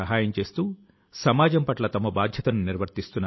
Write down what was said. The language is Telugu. ఇప్పుడు నేను ఈ పుస్తకాల ను మరిన్నిటిని చదవాలి అని అనుకొంటున్నాను